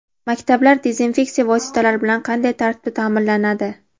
Maktablar dezinfeksiya vositalari bilan qanday tartibda ta’minlanadi?.